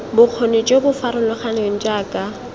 bokgoni jo bo farologaneng jaaka